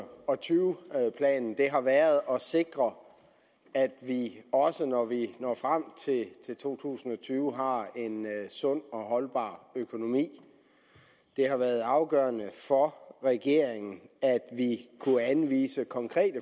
og tyve planen har været at sikre at vi også når vi når frem til to tusind og tyve har en sund og holdbar økonomi det har været afgørende for regeringen at vi kunne anvise konkrete